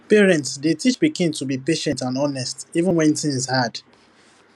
parents dey teach pikin to be patient and honest even when things hard